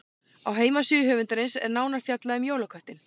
Á heimasíðu höfundarins er nánar fjallað um jólaköttinn.